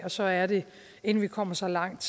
og så er det inden vi kommer så langt